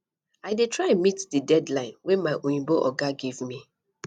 i dey try meet di deadline wey my oyimbo oga give me